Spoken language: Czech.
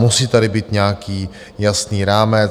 Musí tady být nějaký jasný rámec.